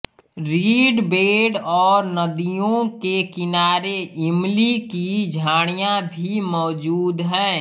read bed और नदियों के किनारे इमली की झाड़ियाँ भी मौजूद हैं